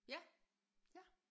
Ja ja